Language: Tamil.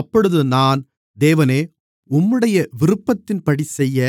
அப்பொழுது நான் தேவனே உம்முடைய விருப்பத்தின்படிசெய்ய